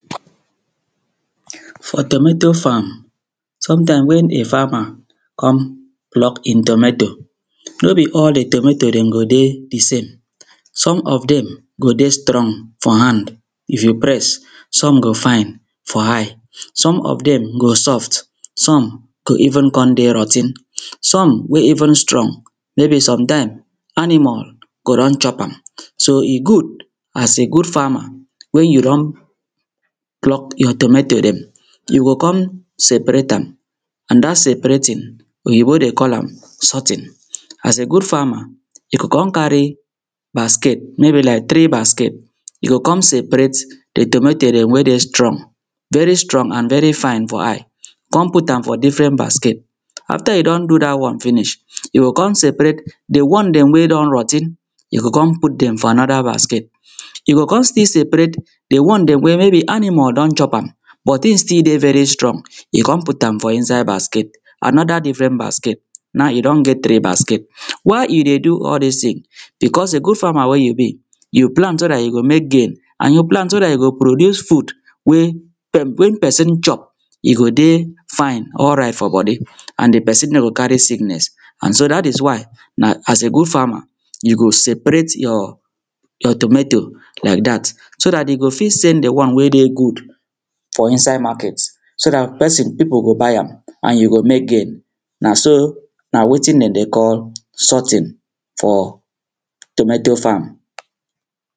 For tomato farm, sometimes when di farmer come pluck e tomato no be all di tomatoes dem go dey di same some of dem dey go dey strong for hand if you press, some go fine for eye, some of dem go soft, some go even come dey rot ten, some wey even strong maybe sometime animal go don chop am. So e good as a good farmer when you don pluck your tomato dem you go come separate am and dat seperating oyinbo dey call am sorting. As a good farmer you go come carry basket maybe like three basket you go come separate di tomato dem wey dey strong, very strong and very fine for eye come put am for different basket after you don do dat one finish, you go come separate di one dem wey don rot ten you go come put dem for another basket, you go come still separate dey one dem maybe animal don chop am but e still dey very strong you go come put am for inside basket another different basket, now you don get three basket. Why you dey do all dis thing becos a good farmer wey you be, you plant so dat you go mek gain and you plant so dat you go produce food wey when person chop e go dey fine, alright for body and di person no go carry sickness and so dat is why na as a good farmer you go separate your tomato like dat so dat you go fit sell di one wey dey good for inside market so dat person, pipo go buy and you go mek gain. Na so na wetin dem dey sorting for tomato farm.